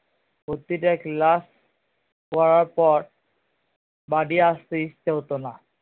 প্রতিটা class পড়ার পর বাড়ি আসতে ইচ্ছা হতো না